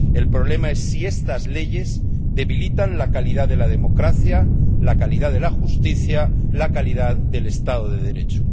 El problema es si estas leyes debilitan la calidad de la democracia, la calidad de la justicia, la calidad del Estado de Derecho.